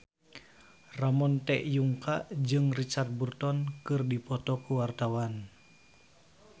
Ramon T. Yungka jeung Richard Burton keur dipoto ku wartawan